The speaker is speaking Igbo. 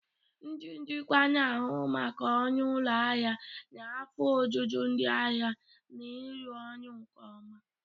Ndị njikwa na-ahụ maka ọrụ ụlọ ahịa, na afọ ojuju ndị ahịa na ịrụ ọrụ nke ọma.